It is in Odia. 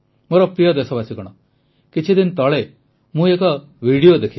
ମୋର ପ୍ରିୟ ଦେଶବାସୀଗଣ କିଛିଦିନ ତଳେ ମୁଁ ଏକ ଭିଡିଓ ଦେଖିଲି